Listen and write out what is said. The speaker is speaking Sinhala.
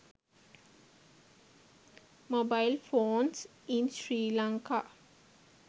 mobile phones in sri lanka